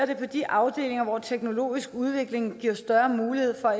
det på de afdelinger hvor den teknologiske udvikling giver mulighed for